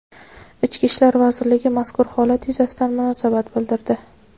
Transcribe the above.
Ichki ishlar vazirligi mazkur holat yuzasidan munosabat bildirdi.